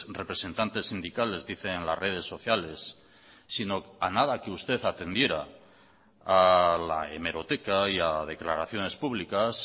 representantes sindicales dicen en las redes sociales sino a nada que usted atendiera a la hemeroteca y a declaraciones públicas